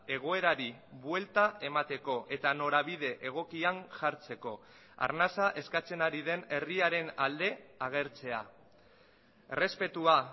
egoerari buelta emateko eta norabide egokian jartzeko arnasa eskatzen ari den herriaren alde agertzea errespetua